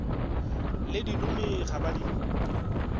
le dilomi ga ba di